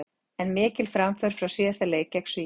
En mikil framför frá síðasta leik gegn Svíum.